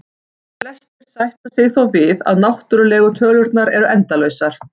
Flestir sætta sig þó við að náttúrlegu tölurnar eru endalausar.